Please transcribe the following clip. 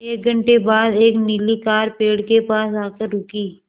एक घण्टे बाद एक नीली कार पेड़ के पास आकर रुकी